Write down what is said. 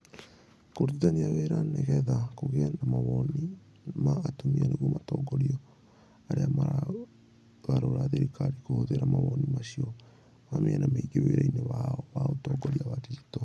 Kũrutithania wĩra nĩgetha kũgĩe na mawoni ma atumia nĩguo matongorie arĩa maragarũra thirikari kũhũthĩra mawoni macio ma mĩena mĩingĩ wĩra-inĩ wao wa ũtongoria wa digito.